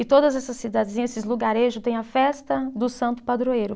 E todas essas cidadezinhas, esses lugarejo, têm a festa do Santo Padroeiro.